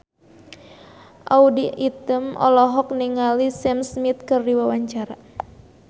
Audy Item olohok ningali Sam Smith keur diwawancara